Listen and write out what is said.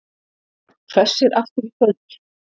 Hvessir aftur í kvöld